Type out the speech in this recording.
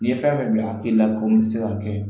Ni fɛn min bila a k'i la komi se ka kɛ